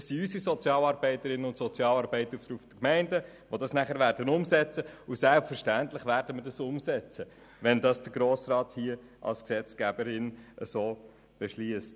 Es sind unsere Sozialarbeiterinnen und Sozialarbeiter der Gemeinden, die diese Gesetzesänderung umsetzen und sagen werden, dass sie dies selbstverständlich tun, wenn es der Grosse Rat als Gesetzgeber so beschlossen hat.